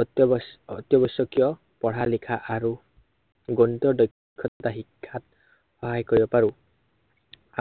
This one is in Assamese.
অত্য়াৱ~অত্য়াৱশ্য়কীয় পঢ়া-লিখা আৰু, দক্ষতা শিক্ষাত সহায় কৰিব পাৰো